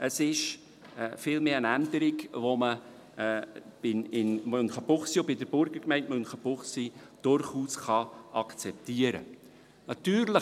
Es ist vielmehr eine Änderung, die man in Münchenbuchsee und bei der Burgergemeinde Münchenbuchsee durchaus akzeptieren kann.